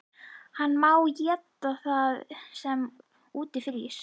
Hann má éta það sem úti frýs!